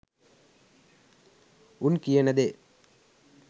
උන් කියන දේ